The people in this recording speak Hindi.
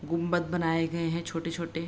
गुबंद बनाए गए हैं छोटे-छोटे --